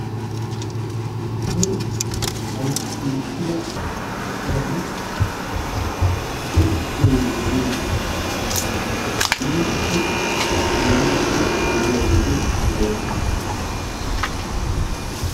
Koyro balgguwan mokkida doozati ha"i bonee gelin iitappe meliiddi de'iyageeti de'oosona.